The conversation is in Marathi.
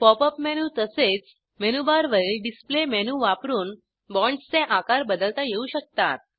पॉप अप मेनू तसेच मेनूबारवरील डिस्प्ले मेनू वापरून बॉण्ड्सचे आकार बदलता येऊ शकतात